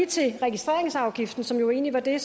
til registreringsafgiften som jo egentlig var det